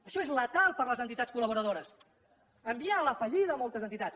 això és letal per a les entitats col·laboradores enviar a la fallida moltes entitats